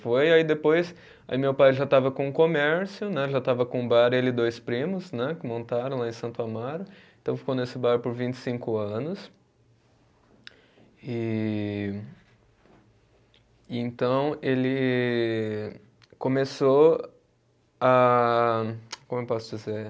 Foi, aí depois, aí meu pai já estava com o comércio né, já estava com o bar, ele e dois primos né, que montaram lá em Santo Amaro, então ficou nesse bar por vinte e cinco anos e e então ele começou a como eu posso dizer?